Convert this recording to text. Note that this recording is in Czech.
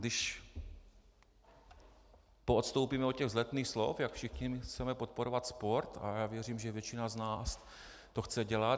Když poodstoupíme od těch vzletných slov, jak všichni chceme podporovat sport - a já věřím, že většina z nás to chce dělat.